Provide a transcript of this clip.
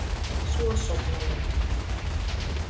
Svo sofna ég.